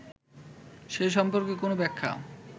সে সম্পর্কে কোন ব্যাখ্যা